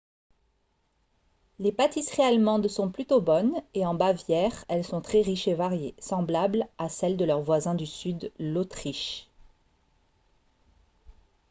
les pâtisseries allemandes sont plutôt bonnes et en bavière elles sont très riches et variées semblables à celles de leur voisin du sud l'autriche